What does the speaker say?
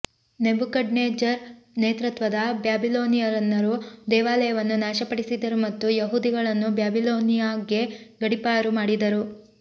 Nebuchadnezzar ನೇತೃತ್ವದ ಬ್ಯಾಬಿಲೋನಿಯನ್ನರು ದೇವಾಲಯವನ್ನು ನಾಶಪಡಿಸಿದರು ಮತ್ತು ಯಹೂದಿಗಳನ್ನು ಬ್ಯಾಬಿಲೋನಿಯಾಗೆ ಗಡಿಪಾರು ಮಾಡಿದರು